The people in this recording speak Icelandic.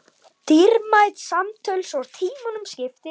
Dýrmæt samtöl svo tímunum skipti.